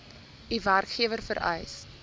u werkgewer vereis